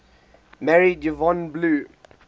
married yvonne blue